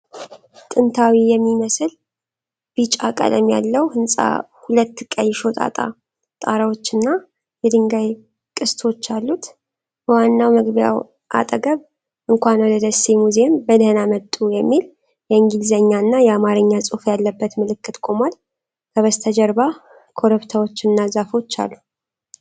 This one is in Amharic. ጥንታዊ የሚመስል ቢጫ ቀለም ያለው ህንጻ ሁለት ቀይ ሾጣጣ ጣራዎችና የድንጋይ ቅስቶች አሉት። በዋናው መግቢያው አጠገብ "እንኳን ወደ ደሴ ሙዚየም በደህና መጡ" የሚል የእንግሊዝኛና የአማርኛ ጽሑፍ ያለበት ምልክት ቆሟል። ከበስተጀርባ ኮረብታዎችና ዛፎች አሉ።